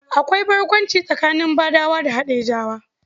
Akwai barkwanci tsakanin Badawa da Haɗejawa.